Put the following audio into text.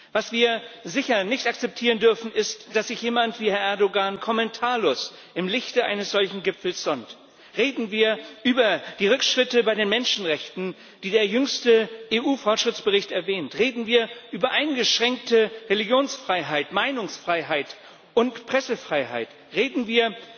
Was wir sicher nicht akzeptieren dürfen, ist, dass sich jemand wie Herr Erdoğan kommentarlos im Lichte eines solchen Gipfels sonnt. Reden wir über die Rückschritte bei den Menschenrechten, die der jüngste EU Fortschrittsbericht erwähnt, reden wir über eingeschränkte Religionsfreiheit, Meinungsfreiheit und Pressefreiheit, reden wir